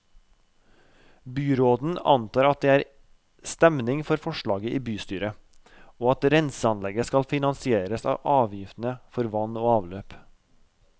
Byråden antar at det er stemning for forslaget i bystyret, og at renseanlegget skal finansieres av avgiftene for vann og avløp.